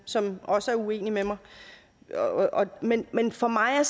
som også er uenig med mig men men for mig